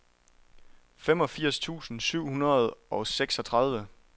femogfirs tusind syv hundrede og seksogtredive